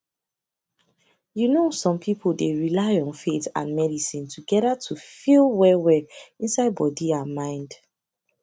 you know some people dey rely on faith and and medicine together to feel wellwell inside body and mind